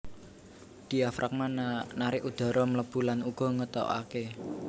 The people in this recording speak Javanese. Diafragma narik udhara mlebu lan uga ngetokaké